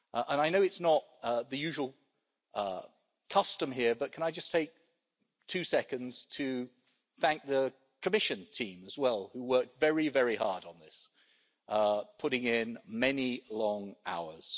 I know it's not the usual custom here but can I just take two seconds to thank the Commission team as well who worked very, very hard on this, putting in many long hours.